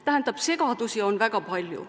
Tähendab, segadust on väga palju.